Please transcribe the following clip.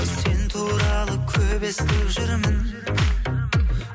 сен туралы көп естіп жүрмін